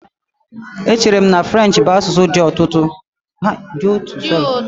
Echere m na French bụ asụsụ dị ụtọ